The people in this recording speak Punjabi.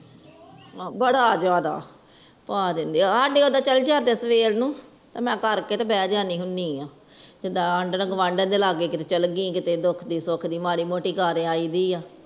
ਬੜਾ ਜਾਂਦਾ ਪਾ ਦੇਂਦੇ ਸਾਡੇ ਓਦਰ ਚਲ ਜਾਂਦੇ ਸਵੇਰ ਨੂੰ ਤਾ ਮੈਂ ਕਰਕੇ ਬੈ ਜਾਂਦੀ ਹੁਨੀ ਆ ਜਿੰਦਾ ਆਡਨ ਗਵਾਂਢਣ ਦੇ ਲਾਗੇ ਕੀਤੇ ਚਾਲ ਗਈ ਕੀਤੇ ਸੁਖ ਦੀ ਦੁੱਖ ਦੀ ਮਾੜੀ ਮੋਤੀ ਗਾ ਦੇ ਆਯੀ ਹੁਈ ਹੈ